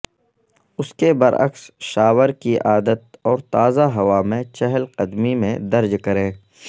اس کے برعکس شاور کی عادت اور تازہ ہوا میں چہل قدمی میں درج کریں